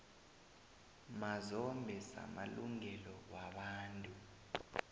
mazombe samalungelo wabantu